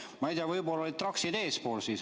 Ma ei tea, võib-olla olid traksid eespool.